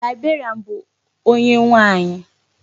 Librarian bụ onye nwaanyi.